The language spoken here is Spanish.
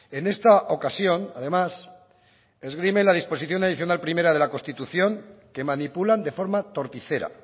en esta ocasión además esgrime la disposición adicional primera de la constitución que manipulan de forma torticera